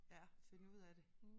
Ja finde ud af det